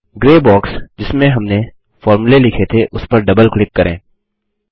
grey box जिसमें हमने फोर्मुले लिखे थे उसपर डबल क्लिक करें